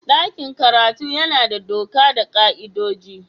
Dakin karatu yana da doka da ka''idoji.